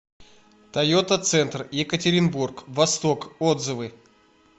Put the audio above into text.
тойота центр екатеринбург восток отзывы